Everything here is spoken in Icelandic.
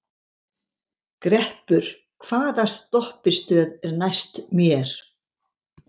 Greppur, hvaða stoppistöð er næst mér?